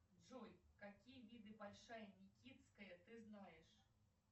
джой какие виды большая никитская ты знаешь